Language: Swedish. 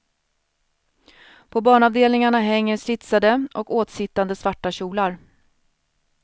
På barnavdelningarna hänger slitsade och åtsittande svarta kjolar.